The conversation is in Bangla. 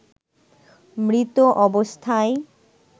মৃত অবস্থায়